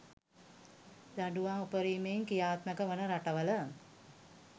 දඬුවම් උපරිමයෙන් ක්‍රියාත්මක වන රටවල